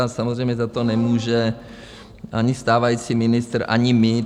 A samozřejmě za to nemůže ani stávající ministr, ani my.